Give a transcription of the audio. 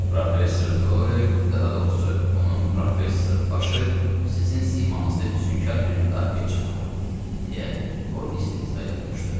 Professor Doyl, daha doğrusu onun professor başı sizin simanızda füsunkar bir müdafiəçi tapıb, deyə o istehza ilə qımışdı.